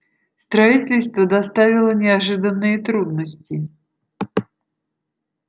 строительство доставило неожиданные трудности